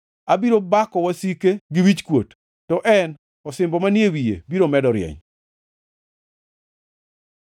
Abiro bako wasike gi wichkuot, to en osimbo manie wiye biro medo rieny.”